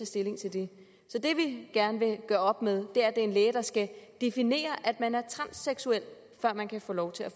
stilling til det så det vi gerne vil gøre op med er er en læge der skal definere at man er transseksuel før man kan få lov til